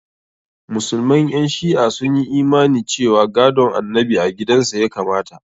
Musulman ƴan shi'a sun yi imani cewa gadon annabi a gidan sa ya kamata.